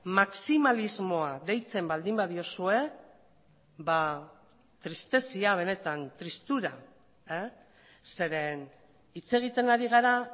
maximalismoa deitzen baldin badiozue tristezia benetan tristura zeren hitz egiten ari gara